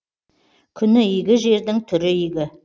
күні игі жердің түрі игі